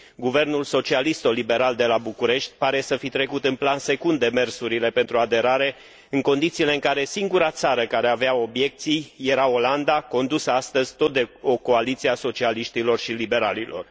Guvernul socialist liberal de la București pare să fi trecut în plan secund demersurile pentru aderare, în condițiile în care singura țară care avea obiecții era Olanda, condusă astăzi tot de o coaliție a socialiștilor și liberalilor.